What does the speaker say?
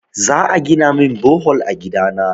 Za a gina min bohol a gida na.